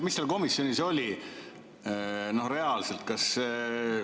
Mis seal komisjonis oli reaalselt?